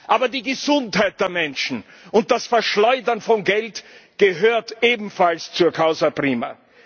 Aber die Gesundheit der Menschen und das Verschleudern von Geld gehören ebenfalls zur causa prima